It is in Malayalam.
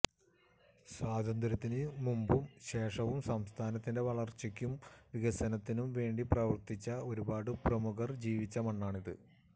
സ്വാതന്ത്ര്യത്തിന് മുമ്പും ശേഷവും സംസ്ഥാനത്തിന്റെ വളര്ച്ചയ്ക്കും വികസനത്തിനും വേണ്ടി പ്രവര്ത്തിച്ച ഒരുപാട് പ്രമുഖര് ജീവിച്ച മണ്ണാണിത്